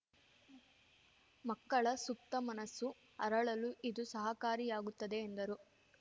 ಮಕ್ಕಳ ಸುಪ್ತ ಮನಸ್ಸು ಅರಳಲು ಇದು ಸಹಕಾರಿಯಾಗುತ್ತದೆ ಎಂದರು